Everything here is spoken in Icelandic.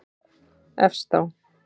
Efst á